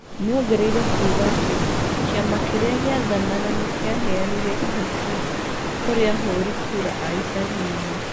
Nĩongereire kuga atĩ kĩama kĩrĩa gĩathanaga nĩkĩaheanire ihaki kũrĩ ahũri kura a icagi-inĩ.